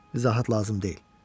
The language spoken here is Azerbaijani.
İzahət lazım deyil.